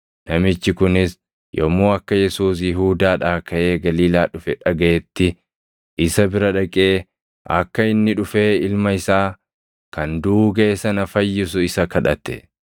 Namichi kunis yommuu akka Yesuus Yihuudaadhaa kaʼee Galiilaa dhufe dhagaʼetti isa bira dhaqee akka inni dhufee ilma isaa kan duʼuu gaʼe sana fayyisu isa kadhate.